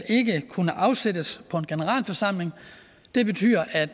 kunne afsættes på en generalforsamling det betyder at